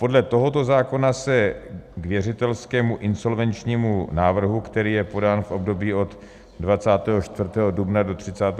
Podle tohoto zákona se k věřitelskému insolvenčnímu návrhu, který je podán v období od 24. dubna do 31. srpna 2020, nepřihlíží.